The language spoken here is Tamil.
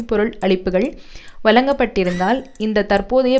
பொருள் அளிப்புக்கள் வழங்கப்பட்டிருந்தால் இந்த தற்போதைய